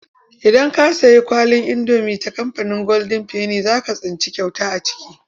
Idan ka sayi kwalin indomi ta kamfanin goldin feni za ka tsinci kyauta a ciki.